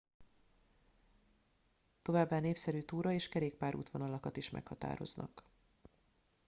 továbbá népszerű túra és kerékpár útvonalakat is meghatároznak